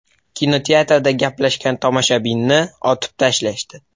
Kinoteatrda gaplashgan tomoshabinni otib tashlashdi.